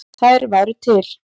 Þær væru til.